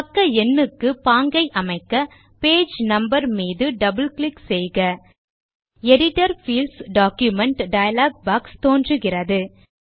பக்க எண்ணுக்கு பாங்கை அமைக்க பேஜ் நம்பர் மீது டபிள் கிளிக் செய்க edit Fields document dialog box தோன்றுகிறது